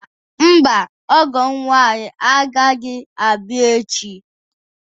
Mba, ọgọ m nwaanyị agaghị abịa echi.